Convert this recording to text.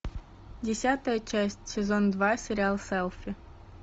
десятая часть сезон два сериал селфи